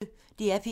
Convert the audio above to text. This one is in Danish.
DR P1